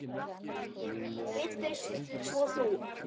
Við fyrst, svo þú.